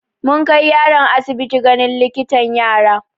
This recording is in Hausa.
Mun kai yaron asibiti ganin likitan yara.